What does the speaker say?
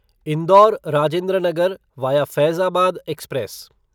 Indore Rajendra Nagar via Faizabad express